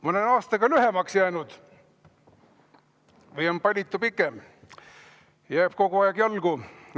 Ma olen aastaga lühemaks jäänud või on palitu pikem, jääb kogu aeg jalgu.